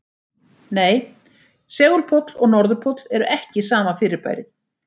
Nei, segulpóll og norðurpóll eru ekki sama fyrirbærið.